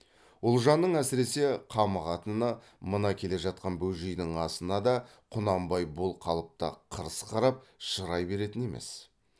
ұлжанның әсіресе қамығатыны мына келе жатқан бөжейдің асына да құнанбай бұл қалыпта қырыс қарап шырай беретін емес